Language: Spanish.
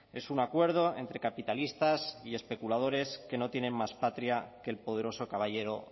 es un acuerdo entre capitalistas y especuladores que no tienen más patria que el poderoso caballero